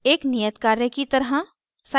एक नियत कार्य की तरह